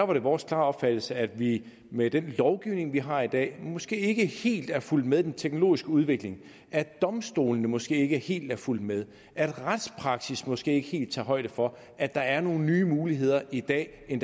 var vores klare opfattelse at vi med den lovgivning vi har i dag måske ikke helt er fulgt med den teknologiske udvikling domstolene er måske ikke helt fulgt med retspraksis tager måske ikke helt højde for at der er nogle nye muligheder i dag i